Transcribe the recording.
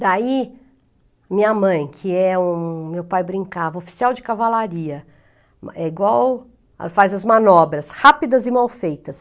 Daí, minha mãe, que é um, meu pai brincava, oficial de cavalaria, é igual, faz as manobras, rápidas e mal feitas.